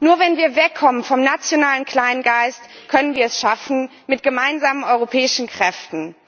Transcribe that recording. Nur wenn wir wegkommen vom nationalen Kleingeist, können wir es schaffen, mit gemeinsamen europäischen Kräften.